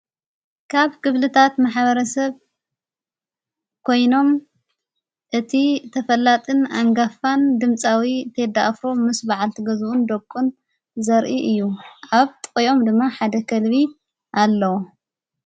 ካብ ግብልታት ማሓበረ ሰብ ኮይኖም እቲ ተፈላጥን ኣንጋፋን ድምጻዊ ቴዲኣፍሮ ምስ በዓል ቲ ገዝኡን ደቊን ዘርኢ እዩ ኣብ ጠዮም ድማ ሓደ ኸልቢ ኣለዉ።